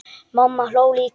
Mamma hló líka.